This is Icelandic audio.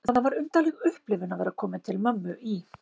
Það var undarleg upplifun að vera komin til mömmu í